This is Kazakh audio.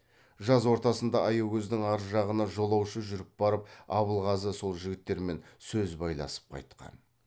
жаз ортасында аягөздің ар жағына жолаушы жүріп барып абылғазы сол жігіттермен сөз байласып қайтқан